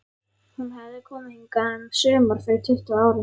Hún hafði komið hingað um sumar fyrir tuttugu árum.